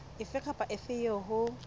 efe kapa efe eo ho